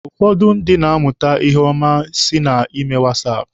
Ụfọdụ ndị na-amụta ihe ọma si na ime wasaapụ.